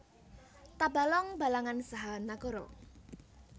Tabalong Balangan saha Nagara